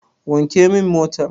Wanke min motar.